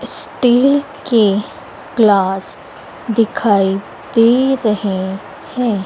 Steel के glass दिखाई दे रहे हैं।